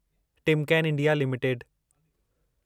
Timken India limited